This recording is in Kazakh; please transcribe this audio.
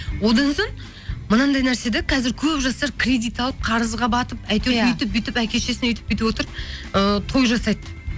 одан соң мынандай нәрсе де қазір көп жастар кредит алып қарызға батып әйтеуір өйтіп бүйтіп әке шешесін өйтіп бүйтіп отырып ыыы той жасайды